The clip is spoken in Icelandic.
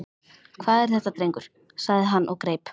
Hvað er þetta drengur? sagði hann og greip